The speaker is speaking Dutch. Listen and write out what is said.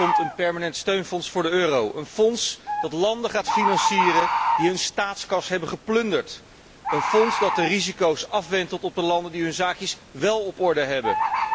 Er komt een permanent steunfonds voor de euro, een fonds dat landen gaat financieren die hun staatskas hebben geplunderd, een fonds dat de risico's afwentelt op de landen die hun zaakjes wel op orde hebben.